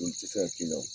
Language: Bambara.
Olu tɛ se ka k'i la